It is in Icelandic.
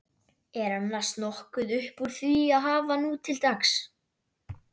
Er annars nokkuð uppúr því að hafa nútildags?